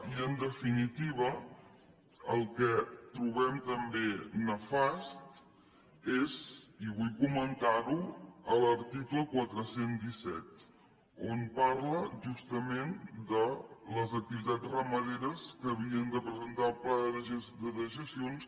i en definitiva el que trobem també nefast és i vull comentar ho l’article quatre cents i disset on parla justament de les activitats ramaderes que havien de presentar el pla de dejeccions